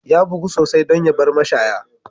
Ya bugu sosai don ya bar mashaya.